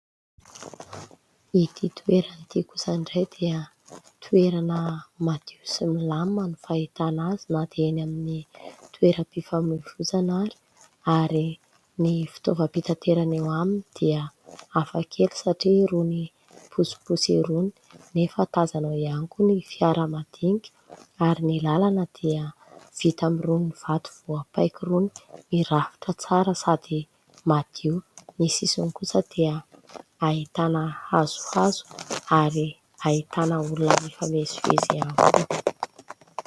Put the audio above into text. Ity toerana ity kosa indray dia toerana madio sy milamina no fahitana azy na dia eny amin'ny toeram-pifamoivoizana ary. Ary ny fitaovam-pitaterana eo aminy dia hafakely satria irony posiposy irony nefa tazana ao ihany koa ny fiara madinika. Ary ny lalana dia vita amin'irony vato voapaika irony, mirafitra tsara sady madio. Ny sisiny kosa dia ahitana hazohazo ary ahitana olona mifamezivezy ihany koa.